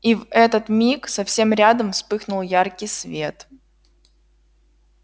и в этот миг совсем рядом вспыхнул яркий свет